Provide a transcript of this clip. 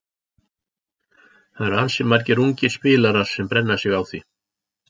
Það eru ansi margir ungir spilarar sem brenna sig á því.